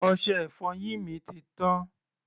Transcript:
Ọṣẹ-ìfọyín mi ti tán.